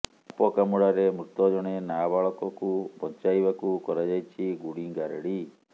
ସାପ କାମୁଡାରେ ମୃତ ଜଣେ ନାବାଳକକୁ ବଞ୍ଚାଇବାକୁ କରାଯାଇଛି ଗୁଣିଗାରେଡ଼ି